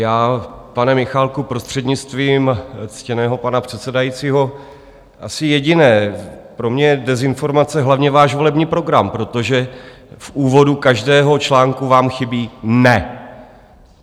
Já, pane Michálku, prostřednictvím ctěného pana předsedajícího, asi jediné - pro mě je dezinformace hlavně váš volební program, protože v úvodu každého článku vám chybí NE.